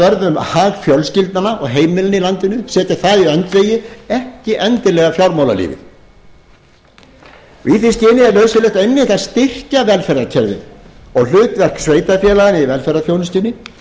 vörð um hag fjölskyldnanna og heimilin í landinu setja það í öndvegi ekki endilega fjármálalífið í því skyni er nauðsynlegt einmitt að styrkja velferðarkerfið og hlutverk sveitarfélaganna í velferðarþjónustunni